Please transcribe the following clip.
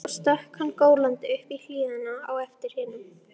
Svo stökk hann gólandi upp í hlíðina á eftir hinum.